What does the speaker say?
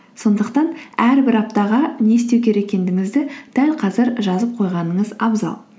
сондықтан әрбір аптаға не істеу керек екендігіңізді дәл қазір жазып қойғаныңыз абзал